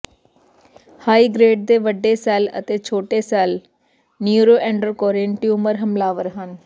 high grade ਦੇ ਵੱਡੇ cell ਅਤੇ ਛੋਟੇ ਸੈੱਲ ਨਯੂਰੋਐਂਡਰਕੋਰੀਨ ਟਿਊਮਰ ਹਮਲਾਵਰ ਹਨ